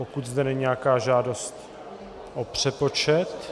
Pokud je zde nějaká žádost o přepočet...?